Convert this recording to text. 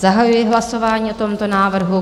Zahajuji hlasování o tomto návrhu.